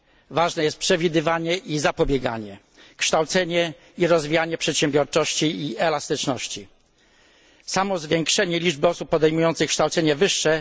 Ważne jest przewidywanie i zapobieganie, kształcenie i rozwijanie przedsiębiorczości i elastyczności. Nie wystarczy samo zwiększenie liczby osób podejmujących kształcenie wyższe.